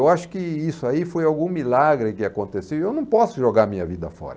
Eu acho que isso aí foi algum milagre que aconteceu e eu não posso jogar a minha vida fora.